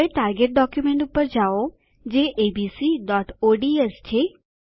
હવે target document પર જાઓ જે abcઓડ્સ છે